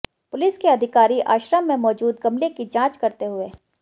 police के अधिकारी आश्रम में मौजूद गमले की जांच करते हुए